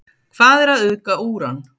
Hvað er að auðga úran?